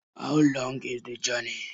How long is the journey?